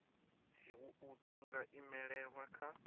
dziwua dzi nga imelelwa kha